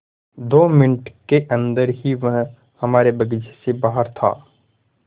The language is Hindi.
दो मिनट के अन्दर ही वह हमारे बगीचे से बाहर था